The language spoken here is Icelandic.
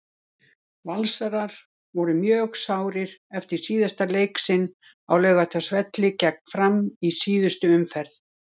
Valsarar voru mjög sárir eftir síðasta leik sinn á Laugardalsvelli gegn Fram í síðustu umferð.